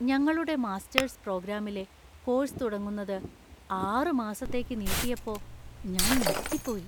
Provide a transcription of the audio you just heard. ഞങ്ങളുടെ മാസ്റ്റേഴ്‌സ് പ്രോഗ്രാമിലെ കോഴ്‌സ് തുടങ്ങുന്നത് ആറ് മാസത്തേക്ക് നീട്ടിയപ്പോ ഞാൻ ഞെട്ടിപ്പോയി.